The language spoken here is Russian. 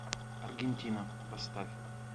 аргентина поставь